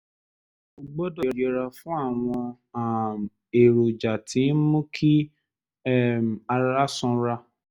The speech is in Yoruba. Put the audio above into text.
o gbọ́dọ̀ yẹra fún àwọn um èròjà tí ń mú kí um ara sanra